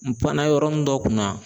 N panna yɔrɔ min dɔ kunna.